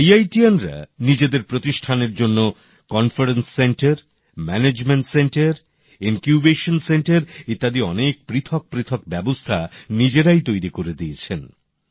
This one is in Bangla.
আইআইটিয়ানরা নিজেদের প্রতিষ্ঠানের জন্য conference centre management centre incubation centre ইত্যাদি অনেক পৃথক পৃথক ব্যবস্থা নিজেরাই তৈরি করে দিয়েছেন